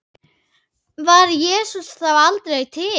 Var Jesús þá aldrei til?